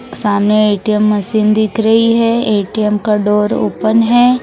सामने ATM machine दिख रही है ए_टी_एम का डोर ओपन है।